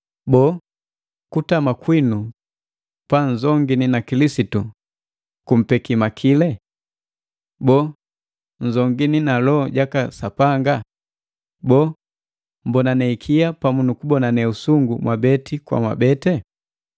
Boo, kutama kwinu panzongini na Kilisitu kumpeki makile? Boo, upali waki gumpogale mwoju? Boo, nnzongini na Loho jaka Sapanga? Boo, mmbonane ikia pamu nukubonane usungu mwabeti kwa mwabete?